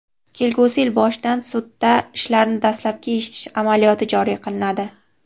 kelgusi yil boshidan sudda ishlarni dastlabki eshitish amaliyoti joriy qilinadi.